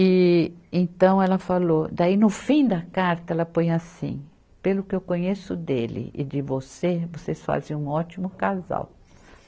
E então ela falou, daí no fim da carta ela põe assim, pelo que eu conheço dele e de você, vocês fazem um ótimo casal.